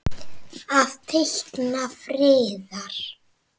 Að teikna friðar.